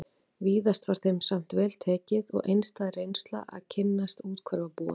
Víðast var þeim samt vel tekið og einstæð reynsla að kynnast úthverfabúum